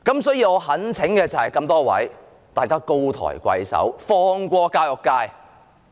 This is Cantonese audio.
所以，我懇請各位高抬貴手，放過教育界。